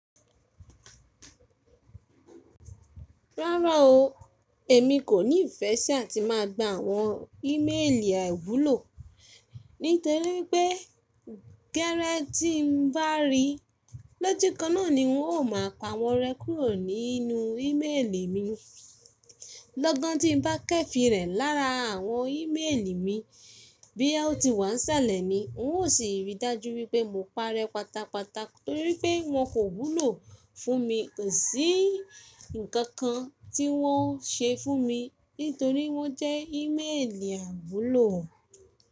Rárá o, èmi kò ní ìfẹ́ sí àti má a gba àwọn íméèlì àiwúlò, nítorí wi pé gẹ́lẹ́ tí n bá rí lójú kan náà ni n ó má a pa wọ́n rẹ́ kúrò nínú íméèlì mi. Lọ́gan tí n bá kẹ́fi rẹ̀ lára àwọn íméèlì mi bí ya ó ti wà ń salẹ̀ ni, n ó sì rí i dájú wípé mo parẹ́ pátápátá torí pé wọn kò wúlò fún mi, kò sí ǹkankan tí wọ́n ṣe fún mi nítorí wọ́n jẹ́ íméèlì àiwúlò.